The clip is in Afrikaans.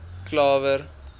klawer